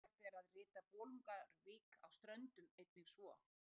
Eðlilegt er að rita Bolungarvík á Ströndum einnig svo.